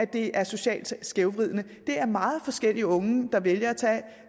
det er socialt skævvridende det er meget forskellige unge der vælger at tage